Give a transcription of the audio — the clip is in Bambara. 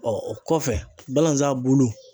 o kɔfɛ balazan bulu.